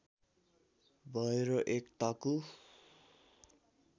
भय र एक ताकु